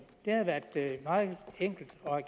det havde været meget enkelt